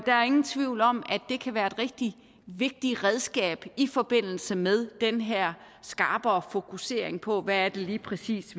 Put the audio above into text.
der er ingen tvivl om at det kan være et rigtig vigtigt redskab i forbindelse med den her skarpere fokusering på hvad det lige præcis